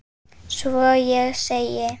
Svo ég segi